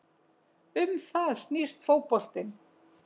Um það snýst fótboltinn